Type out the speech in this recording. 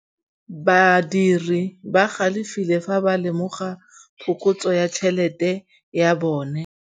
Badiri ba galefile fa ba lemoga phokotsô ya tšhelête ya bone.